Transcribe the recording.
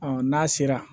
n'a sera